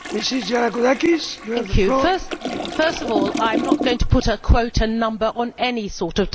First of all I am not going to put a quota number on any sort of diversity we need diversity on boards.